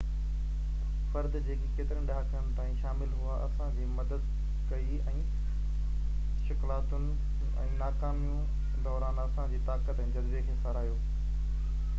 فرد جيڪي ڪيترن ڏهاڪن تائين شامل هئا اسان جي مدد ڪئي ۽ شڪلاتن ۽ ناڪامين دوران اسان جي طاقت ۽ جذبي کي ساراهيو